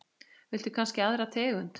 Viltu kannski aðra tegund?